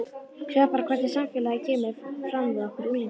Sjáðu bara hvernig samfélagið kemur fram við okkur unglingana.